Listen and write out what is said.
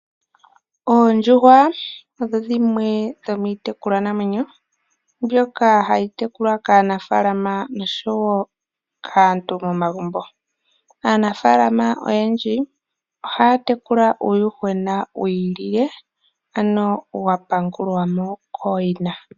Oondjuhwa odho dhimwe dho miitekulwanamwenyo mbyoka hayi tekulwa kaanafaalama nosho wo kaantu momagumbo. Aanafaalama oyendji ohaa tekula uuyuhwena wi ilile, ano wa pangulwa mo kooyina.